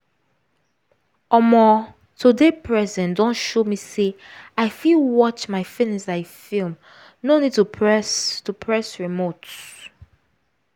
omo to dey present don show me say i fit watch my feelings like film no need to press to press remote.